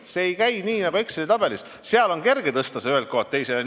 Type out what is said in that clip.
See ei käi nii nagu Exceli tabelis, seal on kerge seda rida ühest kohast teise tõsta.